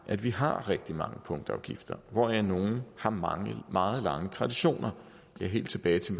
at vi har rigtig mange punktafgifter hvoraf nogle har meget meget lange traditioner det er helt tilbage til